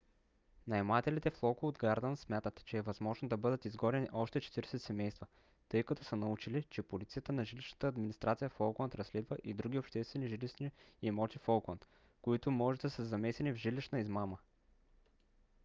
наемателите в локууд гардънс смятат че е възможно да бъдат изгонени още 40 семейства тъй като са научили че полицията на жилищната администрация в оукланд разследва и други обществени жилищни имоти в оукланд които може да са замесени в жилищната измама